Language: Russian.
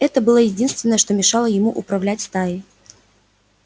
это было единственное что мешало ему управлять стаей